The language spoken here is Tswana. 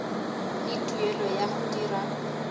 le tumelelo ya go dira